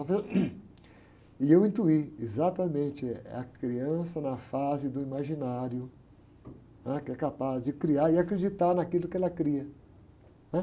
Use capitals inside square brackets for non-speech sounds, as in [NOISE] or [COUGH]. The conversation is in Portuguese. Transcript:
Só fez um, [UNINTELLIGIBLE] e eu intuí exatamente, é a criança na fase do imaginário, né? Que é capaz de criar e acreditar naquilo que ela cria.